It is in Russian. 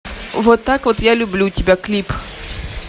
вот так вот я люблю тебя клип